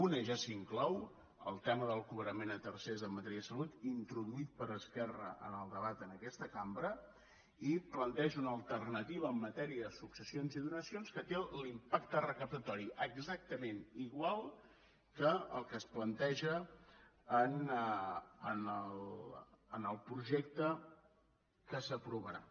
una ja s’inclou el tema del cobrament a tercers en matèria de salut introduït per esquerra en el debat en aquesta cambra i planteja una alternativa en matèria de successions i donacions que té l’impacte recaptatori exactament igual que el que es planteja en el projecte que s’aprovarà